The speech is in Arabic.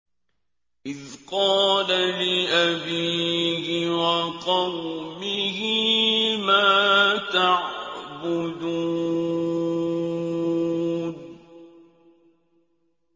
إِذْ قَالَ لِأَبِيهِ وَقَوْمِهِ مَا تَعْبُدُونَ